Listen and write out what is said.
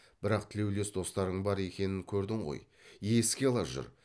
бірақ тілеулес достарың бар екенін көрдің ғой еске ала жүр